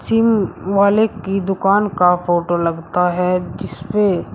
SIM वाले की दुकान का फोटो लगता है जिसपे--